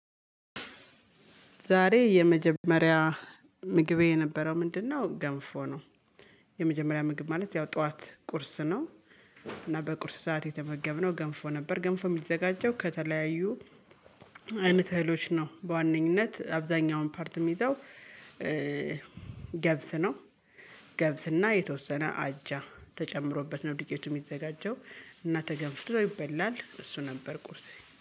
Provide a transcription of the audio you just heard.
ዛሬ የመጀመሪያ ምግቤ የነበረው ምንድነው ገንፎ ነው? የመጀመሪያ ምግብ ማለት ያው ጠዋት ቁርስ ነው። እና በቁርስ ሰዓት የተመገብነው ገንፎ ነበር። ገንፎ የሚዘጋጀው ከተለያዩ አይነት እህሎች ነው በዋነኝነት አብዛኛውን ፓርት የሚይዘው ገብስ ነው። ገብስና የተወሰነ አጃ ተጨምሮበት ነው። ዱቄቱ የሚዘጋጀው እና ተገንፍቶ ይበላል። እሱ ነበር ቁርሴ